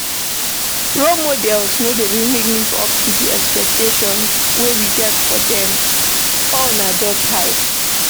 Role models no dey really live up to the expectations wey we get for them, all na just hype